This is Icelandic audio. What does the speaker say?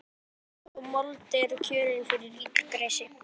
En svona mold er kjörin fyrir illgresi.